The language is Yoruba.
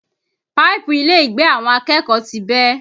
Páìpù ilé ìgbẹ́ àwọn akẹ́kọ̀ọ́ ti bẹ́